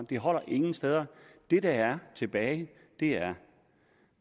det holder ingen steder det der er tilbage er